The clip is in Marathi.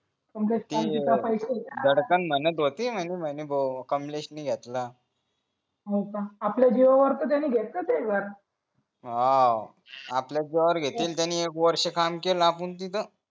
ते धडकन म्हणत होती म्हणून म्हणे भाऊ कमलेशनि घेतला होका आपल्या जीवावर तर त्यांनी घेतला तेवाच हो आपल्या जीवावर घेतील त्यांनी एक वर्ष काम केला पण तिथ